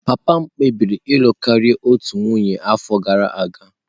Papa m kpebiri ịlụ karịa otu nwanyị n'afọ gara aga.